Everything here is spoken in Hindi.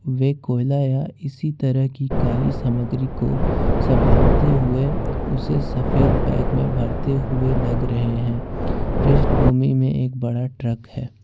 में कोयला या इसी तरह की काली सामग्री को संभालते हुए उसे सफेद बैग में भरते हुए लग रहे हैं पृष्ठभूमि में एक बड़ा ट्रक है।